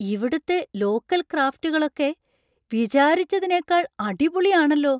ഇവിടുത്തെ ലോക്കൽ ക്രാഫ്റ്റുകളൊക്കെ വിചാരിച്ചതിനേക്കാൾ അടിപൊളിയാണല്ലോ!